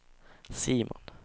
Simon